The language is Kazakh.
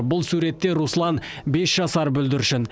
бұл суретте руслан бес жасар бүлдіршін